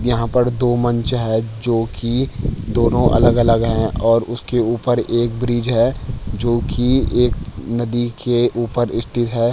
यहाँ पर दो मंच है जो की दोनों अलग-अलग हैं और उसके उपर एक ब्रिज है जो की एक नदी के उपर स्तित है।